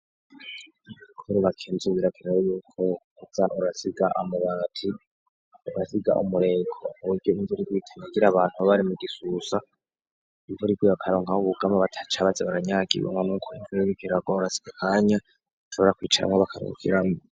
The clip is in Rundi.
Kubaka inzu birakenewe yuko uza urasiga amabati, ugasiga umureko ku buryo imvura iguye itanyagira abantu baba bari mu gisusa, imvura iguye bakaronka aho bugama, badaca baza baranyagigwa ngo nuko imvura iriko iragwa, bagasiga akanya bashobora kwicaramwo bakaruhukiramwo.